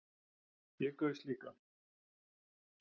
Ég gaus líka